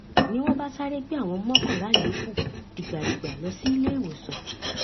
ni wọn bá sáré gbé àwọn mọkànlá yòókù dìgbàdìgbà lọ síléèwòsàn